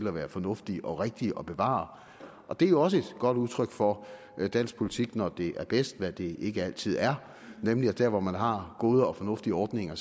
at være fornuftige og rigtige at bevare og det er jo også et godt udtryk for dansk politik når det er bedst hvad det ikke altid er nemlig at der hvor man har gode og fornuftige ordninger